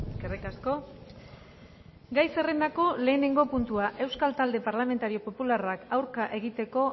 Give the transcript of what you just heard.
eskerrik asko gai zerrendako lehenengo puntua euskal talde parlamentario popularrak aurka egiteko